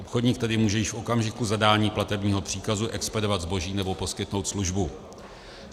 Obchodník tedy může již v okamžiku zadání platebního příkazu expedovat zboží nebo poskytnout službu.